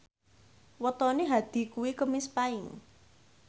wetone Hadi kuwi Kemis Paing